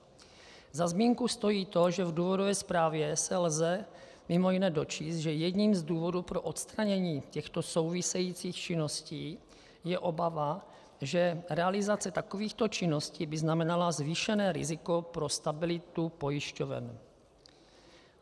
Za zmínku stojí to, že v důvodové zprávě se lze mimo jiné dočíst, že jedním z důvodů pro odstranění těchto souvisejících činností je obava, že realizace takovýchto činností by znamenala zvýšené riziko pro stabilitu pojišťoven.